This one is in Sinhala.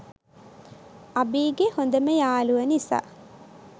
අභීගෙ හොඳම යාලුව නිසා